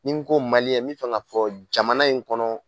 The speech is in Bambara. Ni ko Maliɲɛn min fɛ k'a fɔ jamana in kɔnɔ